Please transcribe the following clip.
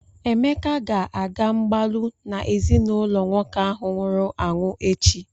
Emeka ga-aga mgbalụ na ezinụlọ nwoke ahụ nwụrụ anwụ echi.